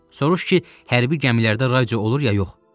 Soruş ki, hərbi gəmilərdə radio olur ya yox.